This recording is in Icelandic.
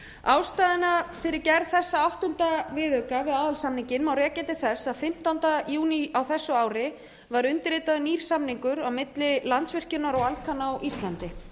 ástæðuna fyrir gerð þessa áttunda viðauka við aðalsamninginn má rekja til þess að fimmtánda júní á þessu ári var undirritaður nýr samningur á milli landsvirkjunar og alcan á íslandi